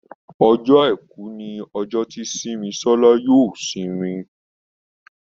Ọjọ́ aìkú ní ojo tí Simisola yóò isimi